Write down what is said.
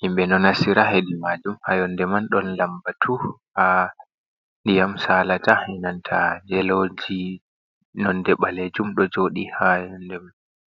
himɓe no nastira hedi majum. Ha yonde man ɗon labbatu ha diyam salata benanta yeloji nonde ɓalejum ɗo jooɗi ha yonde man.